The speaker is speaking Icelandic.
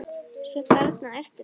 Svo þarna ertu þá!